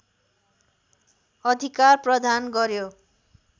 अधिकार प्रदान गर्‍यो